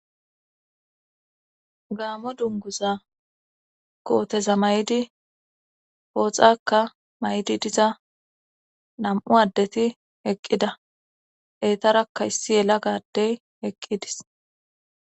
Gaamo dunguza kooteza may"di hooxakka maydi diza nam"u addeti eqqida eetarakka issi yela gadey heqqidis